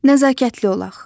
Nəzakətli olaq.